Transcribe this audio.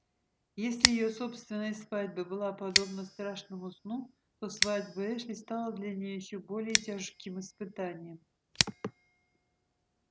если её собственная свадьба была подобна страшному сну то свадьба эшли стала для нее ещё более тяжким испытанием